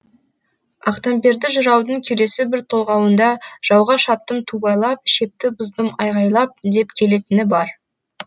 ақтамберді жыраудың келесі бір толғауында жауға шаптым ту байлап шепті бұздым айғайлап деп келетіні бар